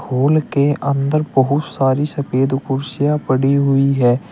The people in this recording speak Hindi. हॉल के अंदर बहुत सारी सफेद कुर्सियां पड़ी हुई है।